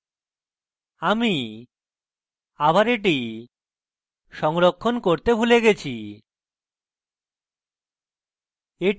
আমি আবার এটি সংরক্ষণ করতে ভুলে গেছি